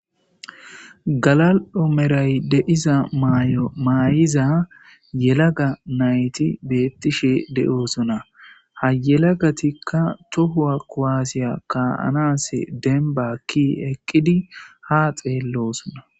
Gala7omeray deiza maay7iza yelaga nayti beettishe de7oosona ha yelagatikka tohuwa koaasiya kaanase denbakki eqqidi ha xeellosona